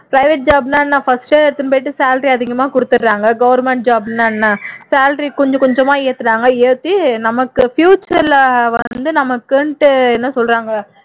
private job னா என்ன first ஏ salary அதிகமா குடுத்துடுறாங்க government job னா என்ன salary கொஞ்சம் கொஞ்சமா ஏத்துறாங்க ஏத்தி நமக்கு future ல வந்து நமக்குன்னுட்டு என்ன சொல்றாங்க